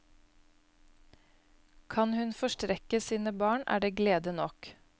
Kan hun forstrekke sine barn, er det glede nok.